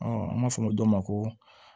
an b'a fɔ o dɔ ma ko